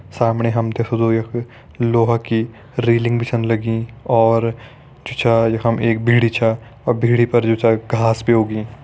सामणे हम ते यख लोहा कि रेलिंग भी छन लगीं और जु चा यखम एक भिड़ी छा अर भिड़ी पर जु चा घास भीं उगीं।